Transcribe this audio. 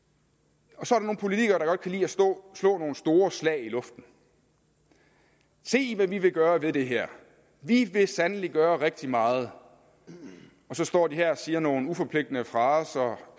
og så er der nogle politikere der godt kan lide at slå nogle store slag i luften se hvad vi vil gøre ved det her vi vil sandelig gøre rigtig meget og så står de her og siger nogle uforpligtende fraser